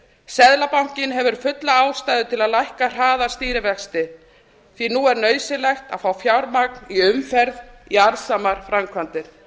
seðlabankinn hefur fulla ástæðu til að lækka hraða stýrivexti því nú er nauðsynlegt að fá fjármagn í umferð í arðsamar framkvæmdir